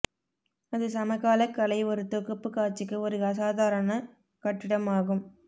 அது சமகால கலை ஒரு தொகுப்பு காட்சிக்கு ஒரு அசாதாரண கட்டிடம் ஆகும்